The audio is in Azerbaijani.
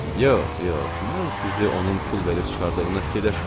Yox, yox, mən sizi onun pul verib çıxardığını fikirləşmirəm.